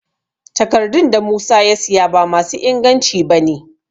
Takardun da Musa ya siya ba ma su inganci ba ne